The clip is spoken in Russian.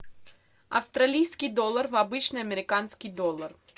австралийский доллар в обычный американский доллар